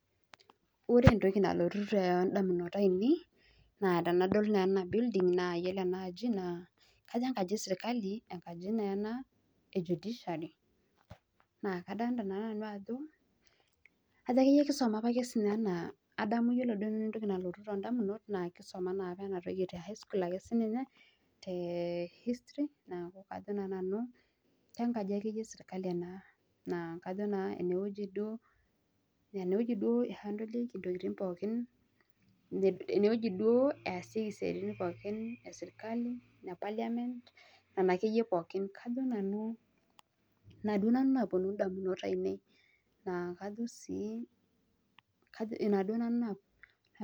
Ore entoki naalotoki indamunot naa enkaji ever eserkali e judiciary naa kajo kisuma opake enaa enkaji naihandlieki intokiting na ine easieki isuaritin pooki eserkali nena akeyie pookin